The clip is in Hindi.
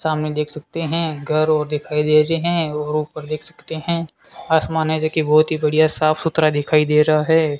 सामने देख सकते है घर और दिखाई दे रहे है और ऊपर देख सकते है आसमान है जो की बहोत ही बढ़िया साफ-सुधरा दिखाई दे रहा है।